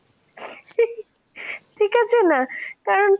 ঠিক আছে না কারন